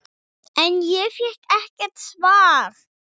En ég fékk ekkert svar.